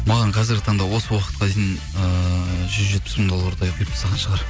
маған қазіргі таңда осы уақытқа дейін ыыы жүз жетпіс мың доллардай құйып тастаған шығар